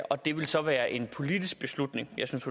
og det vil så være en politisk beslutning jeg synes